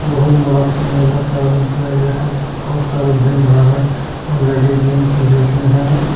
बहुत बड़ा सम्मेलक है उनके आगे बहुत सारा भीड़ भाड़ है और लेडिस जेंट्स भी इसमें है।